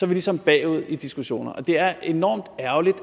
ligesom bagud i diskussionerne og det er enormt ærgerligt